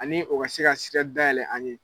Ani o ka se ka sira dayɛlɛ an ye